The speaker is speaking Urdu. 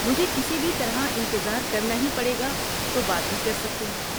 مجھے کسی بھی طرح انتظار کرنا ہی پڑے گا تو بات بھی کر سکتے ہیں۔